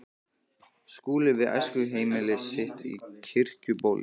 Skúli við æskuheimili sitt á Kirkjubóli.